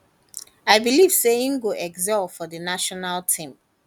i believe say im go excel for di national team